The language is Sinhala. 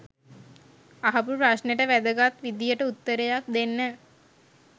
අහපු ප්‍රශ්නෙට වැදගත් විදියට උත්තරයක් දෙන්න.